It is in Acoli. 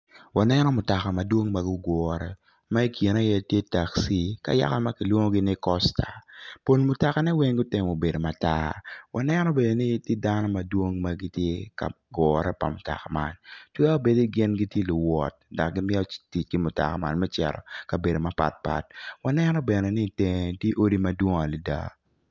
Waneno mutoka madwong ma i kine iye tye taxi ka yaka ma kilwongo ni kosta pol mutokane weng gutemo bedo matar waneno bene ni tye dano madwong ma gitye ka gugure pa mutoka man twero bedi gin gitye luwot dok gimito tic ki mutoka man me cito i kabedo mapat pat waneno bene ni itenge tye odi madwong adada.